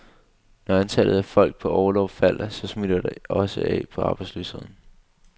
Når antallet af folk på orlov falder, så smitter det også af på arbejdsløsheden.